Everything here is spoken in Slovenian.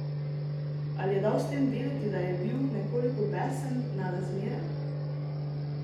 Ali je dal s tem vedeti, da je bil nekoliko besen na razmere?